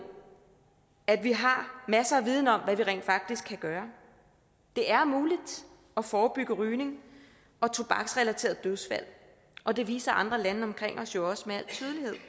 at vi har masser af viden om hvad vi rent faktisk kan gøre det er muligt at forebygge rygning og tobaksrelaterede dødsfald og det viser andre lande omkring os jo også med al tydelighed